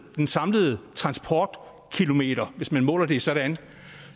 den samlede transportkilometer hvis man måler det sådan